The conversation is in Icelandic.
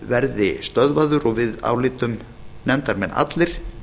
verði stöðvaður og við álítum nefndarmenn allir